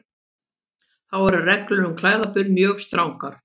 Þá eru reglur um klæðaburð mjög strangar.